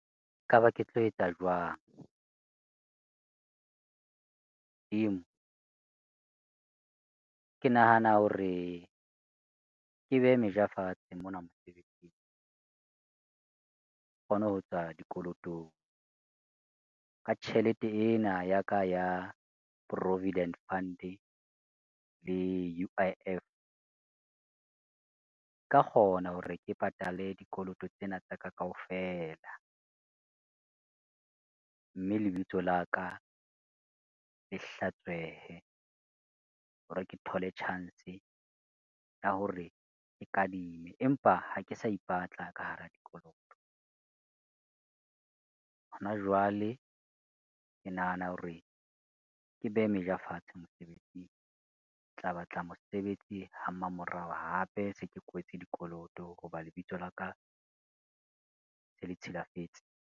E ka ba ke tlo etsa jwang? Modimo, ke nahana hore ke behe meja fatshe mona mosebetsing. Ke kgone ho tswa dikolotong ka tjhelete ena ya ka ya provident fund le U_I_F, nka kgona hore ke patale dikoloto tsena tsa ka kaofela, mme lebitso la ka le hlatswehe hore ke thole chance ya hore ke kadime, empa ha ke sa ipatla ka hara dikoloto. Ho na jwale, ke nahana hore ke behe meja fatshe mosebetsing tla batla mosebetsi ha mmamoraho, hape se ke kwetse dikoloto ho ba lebitso laka se le tshilafetse.